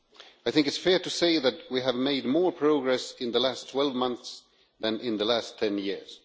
It is fair to say that we have made more progress in the last 12 months than in the last 10 years.